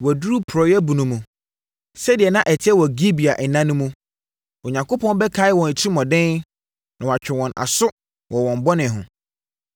Wɔaduru porɔeɛ bunu mu, sɛdeɛ na ɛteɛ wɔ Gibea nna no mu. Onyankopɔn bɛkae wɔn atirimuɔden na watwe wɔn aso wɔ wɔn bɔne ho.